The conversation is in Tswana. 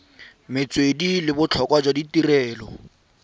metswedi le botlhokwa jwa tirelo